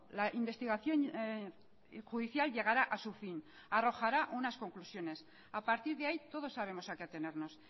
la investigación judicial llegará a su fin arrojará unas conclusiones a partir de ahí todos sabemos a qué atenernos